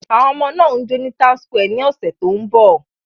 Àwọn ọmọ náà ń jó ní townsquare ní ọ̀sẹ̀ tó ń bọ̀.